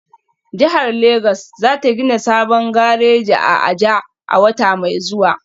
Jihar Legas za ta gina sabon gareji a Aja a wata mai zuwa